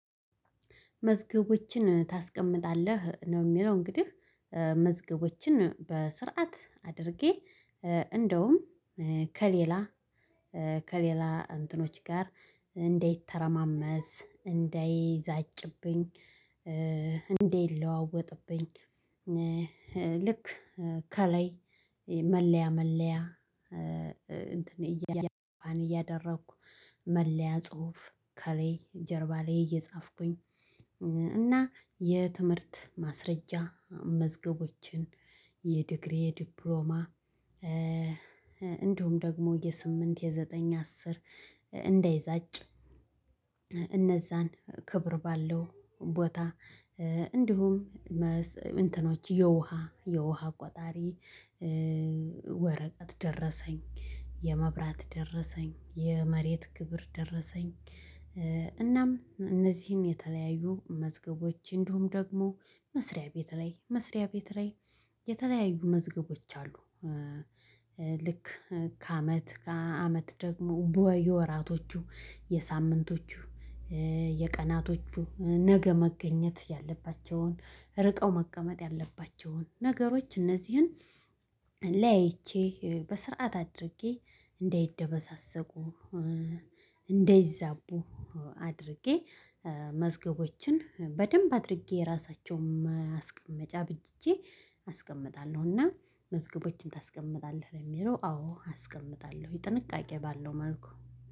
መዝገቦችን ታስቀምጣለህ ነው የሚለው እንግዲህ መዝገቦችን በስርዓት አድርጌ እንደውም ከሌላ ከሌላ እንትኖች ጋር እንዳይተረማመስ እንዳይዛጭብኝ። እንዳይለዋወጥብኝ። ልክ ከላይ መለያ መለያ። እንትን እያደረኩ መለያ ጽሁፍ ከላይ ጀርባ ላይ እየጻፍኩኝ። እና የትምህርት ማስረጃ መዝገቦችን የዲግሪ ዲፕሎማ እንዲሁም ደግሞ የስምንት የዘጠኝ የአስር እንዳይጋጭ። እነዛን ክብር ባለው ቦታ እንዲሁም እንትኖች የውሃ የውሃ ቆጣሪ። ወረቀት ደረሰኝ የመብራት ደረሰኝ የመሬት ግብር ደረሰኝ። እናም እነዚህን የተለያዩ መዝገቦች እንዲሁም ደግሞ መስሪያ ቤት ላይ መስሪያ ቤት ላይ የተለያዩ መዝገቦች አሉ። ልክ ከአመት ከአመት ደግሞ የወራቶቹ የሳምንቶቹ የቀናቶቹ ነገ መገኘት ያለባቸውን ርቀው መቀመጥ ያለባቸውን ነገሮች እነዚህን። ለያይቼ በስርዓት አድርጌ እንደይደበሳሰቁ እንደይዛቡ አድርጌ መዝገቦችን በደንብ አድርጌ ራሳቸውን ማስቀመጫ አበጅቼ አስቀምጣለሁ። እና መዝገቦችን ታስቀምጣለህ? ለሚለው አዎ አስቀምጣለሁ የጥንቃቄ ባለው መልኩ